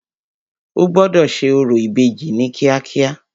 O gbọ́dọ̀ ṣe orò ìbejì ní kíákíá.